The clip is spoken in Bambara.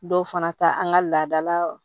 Dɔw fana ta an ka laadala